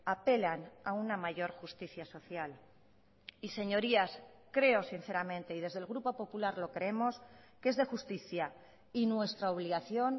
apelan a una mayor justicia social y señorías creo sinceramente y desde el grupo popular lo creemos que es de justicia y nuestra obligación